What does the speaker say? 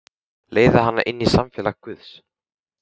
Leiða hana inn í samfélag guðs.